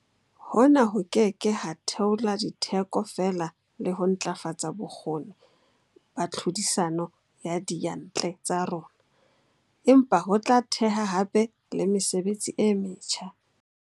Hona ho ke ke ha theola ditheko fela le ho ntlafatsa bokgoni ba tlhodisano ya diyantle tsa rona, empa ho tla theha hape le mesebetsi e metjha.